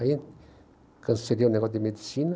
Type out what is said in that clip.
Aí cancelei o negócio da medicina.